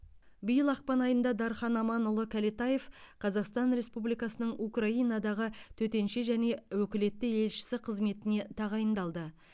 биыл ақпан айында дархан аманұлы кәлетаев қазақстан республикасының украинадағы төтенше және өкілетті елшісі қызметіне тағайындалды